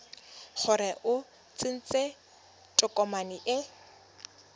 gore o tsentse tokomane e